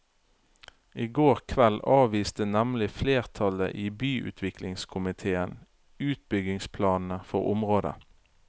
I går kveld avviste nemlig flertallet i byutviklingskomitéen utbyggingsplanene for området.